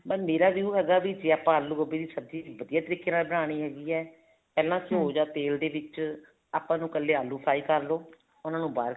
ਮੇਰਾ ਜੋ ਹੈਗਾ ਜੇ ਆਲੂ ਗੋਭੀ ਦੀ ਸਬਜੀ ਵਧੀਆ ਤਰੀਕ਼ੇ ਨਾਲ ਬਣਾਨੀ ਹੈਗੀ ਹੈ ਪਹਿਲਾਂ ਘਿਓ ਜਾਂ ਤੇਲ ਦੇ ਵਿੱਚ ਆਪਾਂ ਨੂੰ ਇੱਕਲੇ ਆਲੂ fry ਕਰਲੋ ਉਹਨਾ ਬਾਹਰ